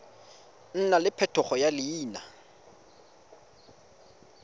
nna le phetogo ya leina